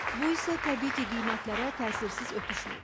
Bu isə təbii ki, qiymətlərə təsirsiz ötüşmür.